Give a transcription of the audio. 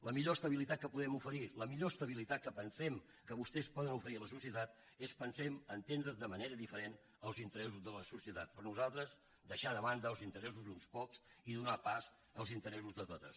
la millor estabilitat que podem oferir la millor estabilitat que pensem que vostès poden oferir a la societat és pensem entendre de manera diferent els interessos de la societat per nosaltres deixar de banda els interessos d’uns pocs i donar pas als interessos de totes